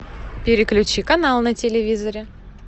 переключи канал на телевизоре